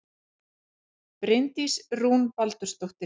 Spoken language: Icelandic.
Það þýðir ekki að fara í neinn leik og halda að maður fái eitthvað gefins.